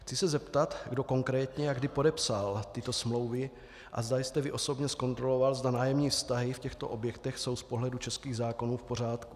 Chci se zeptat, kdo konkrétně a kdy podepsal tyto smlouvy a zda jste vy osobně zkontroloval, zda nájemní vztahy v těchto objektech jsou z pohledu českých zákonů v pořádku.